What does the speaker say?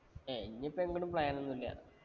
ഏർ ഇനി ഇപ്പം എങ്ങട്ടും plan ഒന്നുമില്ല.